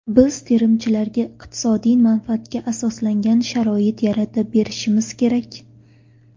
Biz terimchilarga iqtisodiy manfaatga asoslangan sharoit yaratib berishimiz kerak.